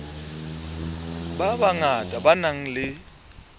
ba bangata ba nang le